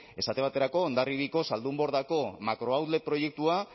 esate baterako hondarribiako zaldunbordako makro outlet proiektua